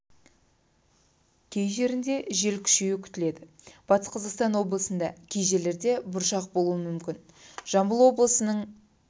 кей жерінде жел күшеюі күтіледі батыс қазақстан облысында кей жерлерде бұршақ болуы мүмкін жамбыл облысының